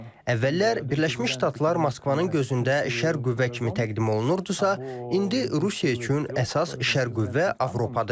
Əvvəllər Birləşmiş Ştatlar Moskvanın gözündə şər qüvvə kimi təqdim olunurdusa, indi Rusiya üçün əsas şər qüvvə Avropadır.